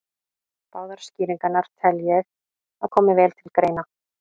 Báðar skýringarnar tel ég að komi vel til greina.